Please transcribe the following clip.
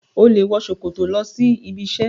O le wọ ṣòkòtò lọ sí ibi isẹ.